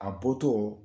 A bɔtɔ